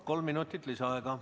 Kolm minutit lisaaega.